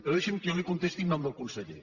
però deixi’m que jo li contesti en nom del conseller